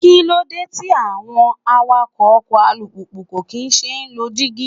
Kíló dé tí àwọn awakọ́ ọkọ̀ alùpùpù kò kín ṣe é lo dígí?